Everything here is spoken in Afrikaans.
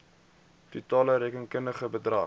totale rekenkundige bedrag